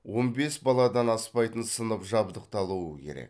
он бес баладан аспайтын сынып жабдықталуы керек